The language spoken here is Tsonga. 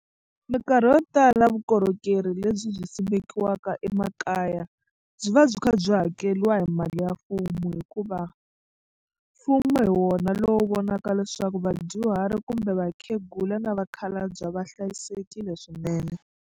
Mikarhi yo tala vukorhokeri lebyi byi simekiwaka emakaya byi va byi kha byi hakeriwa hi mali ya mfumo hikuva mfumo hi wona lowu vonaka leswaku vadyuhari kumbe vakhegula na vakhalabye va hlayisekile swinene.